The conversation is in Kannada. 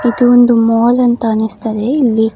ಇದು ಒಂದು ಮಾಲ್ ಅಂತ ಅನಿಸ್ತದೆ ಇಲ್ಲಿ--